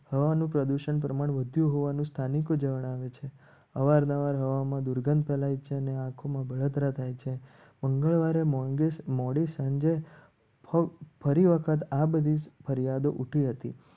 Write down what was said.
હવાનું પ્રદૂષણ પ્રમાણે મૃત્યુ હોવાનું સ્થાનિક જણાવે છે અવારનવાર હવામાં દુર્ગંધ ફેલાય છે. અને આંખોમાં બળતરા થાય છે. મંગળવારે મોડી સાંજે ફરી વખત આ બધી ફરિયાદો ઉઠી હતી.